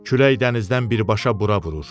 Külək dənizdən birbaşa bura vurur.